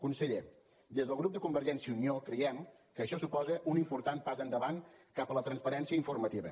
conseller des del grup de convergència i unió creiem que això suposa un important pas endavant cap a la transparència informativa